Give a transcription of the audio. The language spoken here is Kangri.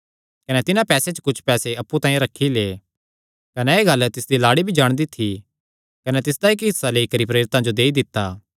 कने तिन्हां पैसेयां च कुच्छ पैसे अप्पु तांई रखी लै कने एह़ गल्ल तिसदी लाड़ी भी जाणदी थी कने तिसदा इक्क हिस्सा लेई करी प्रेरितां जो देई दित्ता